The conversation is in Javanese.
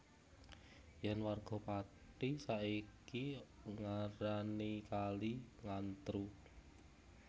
Yen warga Pati saiki ngarani kali Ngantru